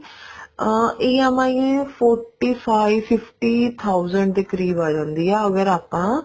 ਅਮ EMI forty five fifty thousand ਦੇ ਕਰੀਬ ਆ ਜਾਂਦੀ ਆ ਅਗਰ ਆਪਾਂ